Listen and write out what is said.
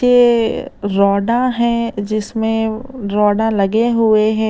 ये राडा है जिसमें राडा लगे हुए हैं।